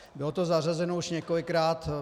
Bylo to zařazeno už několikrát.